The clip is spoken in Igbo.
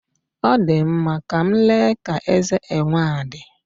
Ọ dị mma, ka m lee ka eze enwe a dị.